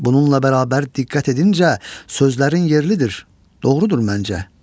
Bununla bərabər diqqət edincə sözlərin yerlidir, doğrudur məncə.